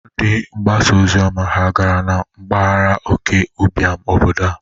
Ndị mgbasa ozioma ha gara na mbagara oke ụbịam obodo a?